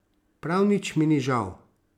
Prav nič mi ni žal.